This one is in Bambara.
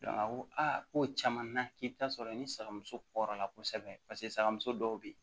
a ko a ko caman na k'i bɛ taa sɔrɔ i ni saga muso kɔrɔla kosɛbɛ paseke sagamuso dɔw bɛ yen